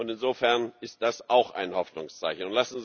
Insofern ist das auch ein Hoffnungszeichen.